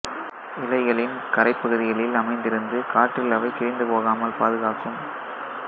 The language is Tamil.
இலைகளின் கரைப்பகுதிகளில் அமைந்திருந்து காற்றில் அவை கிழிந்து போகாமல் பாதுகாக்கும்